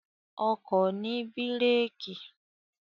Ọkọ̀ ni bírèèkì.